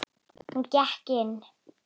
Hún gekk inn.